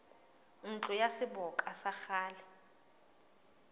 ntlo ya seboka ya kgale